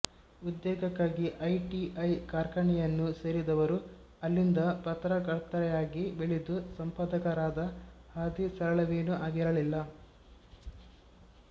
ಉದ್ಯೋಕ್ಕಾಗಿ ITI ಕಾರ್ಖಾನೆಯನ್ನು ಸೇರಿದವರು ಅಲ್ಲಿಂದ ಪತ್ರಕರ್ತೆಯಾಗಿ ಬೆಳೆದು ಸಂಪಾದಕರಾದ ಹಾದಿ ಸರಳವೇನೂ ಆಗಿರಲಿಲ್ಲ